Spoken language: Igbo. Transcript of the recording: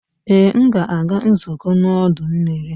Ee! M ga-aga nzukọ n'ọdọ mmiri.